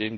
an.